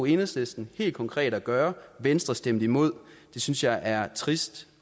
enhedslisten helt konkret at gøre venstre stemte imod det synes jeg er trist